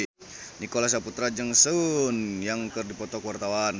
Nicholas Saputra jeung Sun Yang keur dipoto ku wartawan